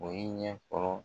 O ye ɲɛ fɔlɔ